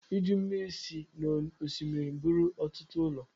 Iju mmiri si n’osimiri buru ọtụtụ ụlọ